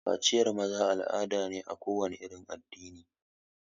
Kaciyar maza al'ada ne na kowane irin addini.